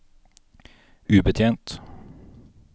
ubetjent